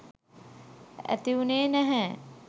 ඇති වුනේ නැහැ